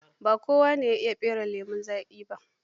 Ba kowane ya iya fere lemon zaƙi ba.